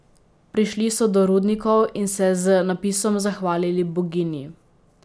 Prišli so do rudnikov in se z napisom zahvalili boginji.